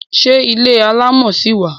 Ṣé ilé alámọ̀ ṣi wà?